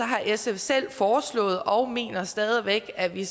har sf selv foreslået og mener stadig væk at vi